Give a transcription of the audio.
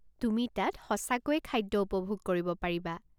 তুমি তাত সঁচাকৈয়ে খাদ্য উপভোগ কৰিব পাৰিবা।